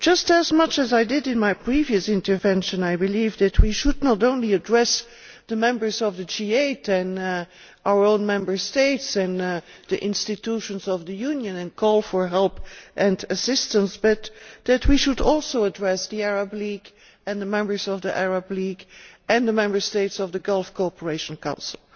As I stated in my previous intervention, I believe that we should not only address the members of the G8 and our own Member States and the institutions of the Union and call for help and assistance, we should also address the Arab League and the members of the Arab League and the Member States of the Gulf Cooperation Council.